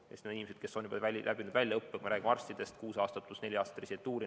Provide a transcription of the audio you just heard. Need on inimesed, kes on juba läbi teinud väljaõppe, kui me räägime arstidest, siis kuus aastat pluss neli aastat residentuuri.